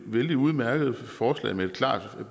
vældig udmærket forslag med et klart